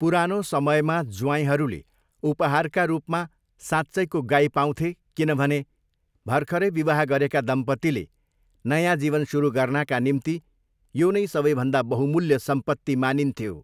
पुरोनो समयमा ज्वाइँहरूले उपहारका रूपमा साँच्चैको गाई पाउँथे किनभने भर्खरै विवाह गरेका दम्पतीले नयाँ जीवन सुरु गर्नाका निम्ति यो नै सबैभन्दा बहुमूल्य सम्पत्ति मानिथ्यो।